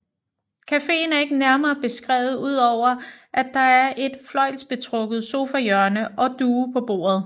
Cafeen er ikke nærmere beskrevet udover at der er et fløjlsbetrukket sofahjørne og duge på bordet